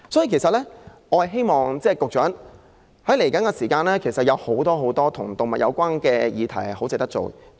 因此，局長，在接下來的日子，還有許多與動物有關的議題值得探討。